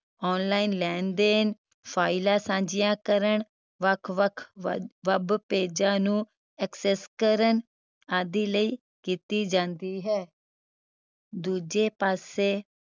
online ਲੈਣ ਦੇਣ ਫਾਈਲਾਂ ਸਾਂਝੀਆਂ ਕਰਨ ਵੱਖ ਵੱਖ we web ਪੇਜਾਂ ਨੂੰ access ਕਰਨ ਆਦਿ ਲਈ ਕੀਤੀ ਜਾਂਦੀ ਹੈ ਦੂਜੇ ਪਾਸੇ